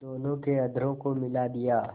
दोनों के अधरों को मिला दिया